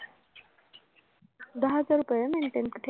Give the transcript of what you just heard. दहा हजार रुपये maintain ठेवा